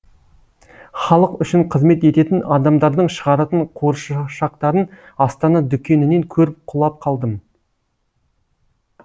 халық үшін қызмет ететін адамдардың шығаратын қуыршақтарын астана дүкенінен көріп құлап қалдым